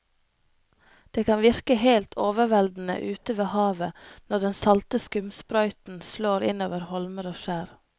Det kan virke helt overveldende ute ved havet når den salte skumsprøyten slår innover holmer og skjær.